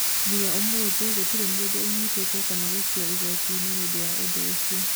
Nginya ũmuthi gũtirĩ mũndũ ũnyitetwo kana gũkinyio igotinĩ nĩundũ wa ũndu ũcio